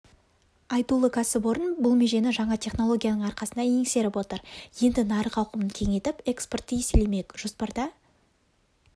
айтулы кәсіпорын бұл межені жаңа технологияның арқасында еңсеріп отыр енді нарық ауқымын кеңейтіп экспортты еселемек жоспарда